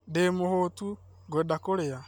Ndĩ mũhũũtu, ngwenda kũrĩa